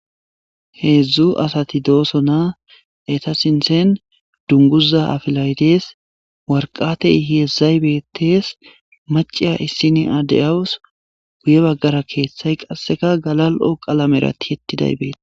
heedzdzu asati dooso naa eta sinten dunguza afilaytes warqatey heezdzay beetes maciya issini addeyawus guye baggara keeththay qasseka galal7o qalamerati hetidaybeete